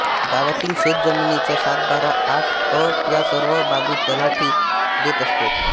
गावातील शेत जमिनीचा सात बारा आठ अ या सर्व बाबी तलाठी देत असतो